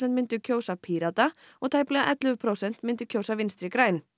myndu kjósa Pírata og tæplega ellefu prósent myndu kjósa Vinstri græn